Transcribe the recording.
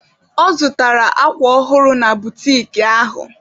Ọ zụtara akwa ọhụrụ na butiki ahụ